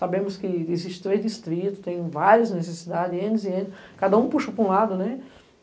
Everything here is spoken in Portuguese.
Sabemos que existem três distritos, tem várias necessidades, cada um puxa para um lado, né?